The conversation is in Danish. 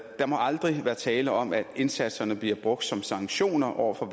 der må aldrig være tale om at indsatserne bliver brugt som sanktioner over for